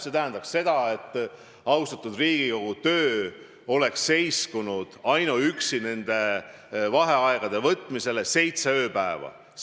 See tähendanuks seda, et austatud Riigikogu töö oleks seiskunud ainuüksi nende vaheaegade võtmise tõttu seitsmeks ööpäevaks.